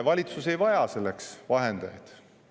Valitsus ei vaja selleks vahendajaid.